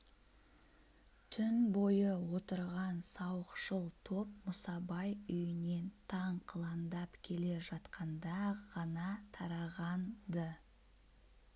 түн бойы отырған сауықшыл топ мұсабай үйінен таң қыландап келе жатқанда ғана тараған-ды